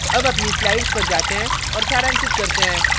अब अपनी slides पर जाते हैं और सारांशित करते हैं